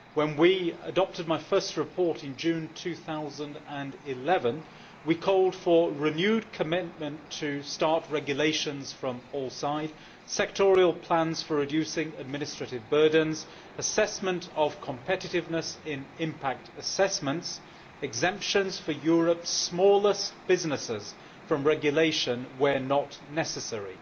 When we adopted my first report, in June 2011, we called for renewed commitment to smart regulations from all sides, sectorial plans for reducing administrative burdens, assessment of competitiveness in impact assessments, and exemptions for Europe's smallest businesses from regulation where not necessary.